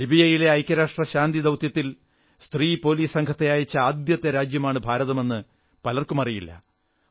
ലിബിയയിലെ ഐക്യരാഷ്ട്ര ശാന്തി ദൌത്യത്തിൽ സ്ത്രീ പോലീസ് സംഘത്തെ അയച്ച ആദ്യത്തെ രാജ്യമാണ് ഭാരതമെന്ന് പലർക്കുമറിയില്ല